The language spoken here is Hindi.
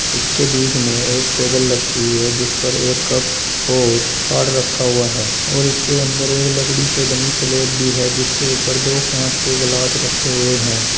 इसके बीच मे एक टेबल रखी हुई है जिसपर एक कप और कार्ड रखा हुआ है और इसके अंदर एक लकड़ी से बनी स्लैब भी है जिसके ऊपर दो कांच के ग्लास रखे हुए है।